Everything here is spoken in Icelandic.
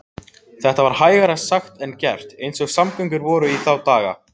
Þetta var hægara sagt en gert eins og samgöngur voru í þá daga.